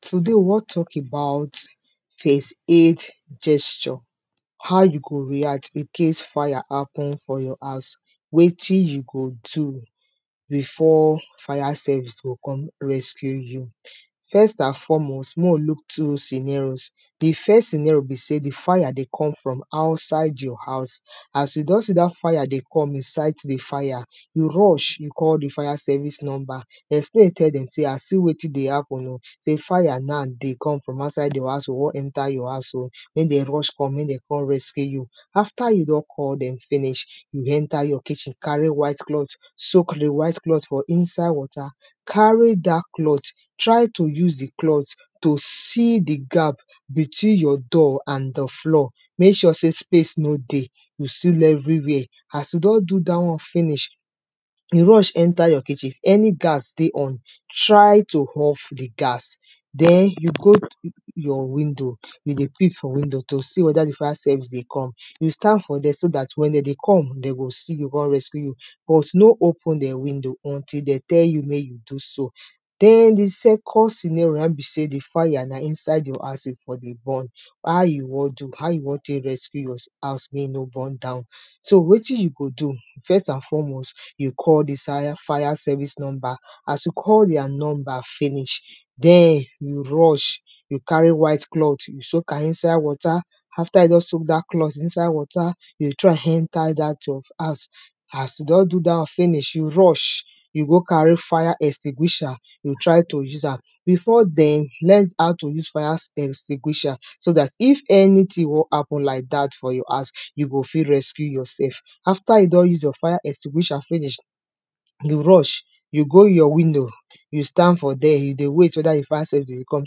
today we won talk about first aid gesturehow you go react icase fire happen your house wetin you go do. before fire service go com rescue you. first and foremost, mek we look two senerios di first senero na di fire dey come from outside your house as you don see dat fir dey come you sight di fire, you rush you call di fire service number explain tell dem sey see wetin dey happen oh sey fire na dey come from outide di house oh dey come enter your house oh mek dem rush come ko rescue you. after you don call dem finish, you enter your kitchen carry white cloth soak di white cloth for water, carry dat cloth to see di gap between your door and di floor mek sure sey space no dey, you seal every where as you don do dat wan finish, you rush enter your kitchen any gas dey on try to off di gas, den you go your window you dey peep for window to see weda di fire service dey come you stand for there so dat wen de dey come de go see you kon rescue you. bu no open di window until de tell you mek you do so. di second sinero na in be sey n a di firena inside your houose e dey burn how you won do, how you wan tek rescue your house mek e no burn down. so wetin you go do., first and foremost, you call di fire service number, as you call their number finish, den you rush you carry white cloth you soak am inside water, afta you don soak dat cloth inside wata you throw am enter inside dat your house as you don do dt won finish, you rush, you o go carry fire extinguisher, you try to use am. before den, learn how to use fire extinguisher so dat if anything wan happen like dat for your house, you go fit rescue yourself. after you don use your fire extinguisher finish, you go rush you go your window, you stand for there you dey wait weda di fire service dey come,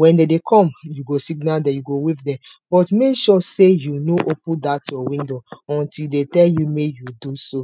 wen de dey come you siga dem you go wave dem. but mek sure sey you no open dat your window until de tell you mek you do so.